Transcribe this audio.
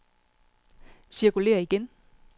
cirkulér igen